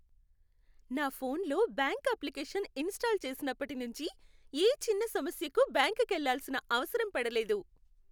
నా ఫోన్లో bank application install చేసినప్పటి నుంచి, ఏ చిన్న సమస్యకూ బ్యాంకుకెళ్ళాల్సిన అవసరం పడలేదు.